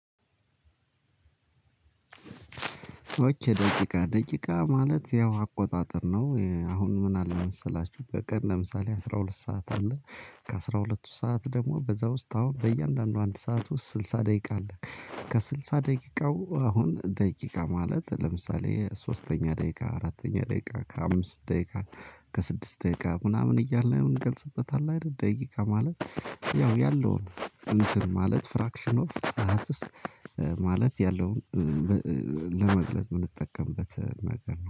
ደቂቃ ደቂቃ ማለት ያው አቆጣጠር ነው። አሁን ምን አለ መሰላችሁ በቀን ለምሳሌ አስራ ሁለት ሰዓት አለ ከአስራ ሁለቱ ሰዓት ደግሞ በዛ ውስጥ አሁን በእያንዳንዱ አንድ ሰዓት ውስጥ ስልሳ ደቂቃ አለ። ከስልሳ ደቂቃው አሁን ደቂቃ ማለት ለምሳሌ ሶስተኛ ደቂቃ አራተኛ ደቂቃ ከአምስት ደቂቃ ከስድስት ደቂቃ ምናምን እያለ ምን ገልጽበታል አይደል ደቂቃ ማለት፤ ያው ያለውን እንትን ማለት ፍራክሽን ኦፍ ሰዓትስ ማለት ያለውን ለመግለጽ ብንጠቀምበት ነገር ነው።